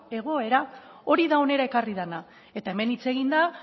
egoera hori da hona ekarri dena eta hemen hitz egin da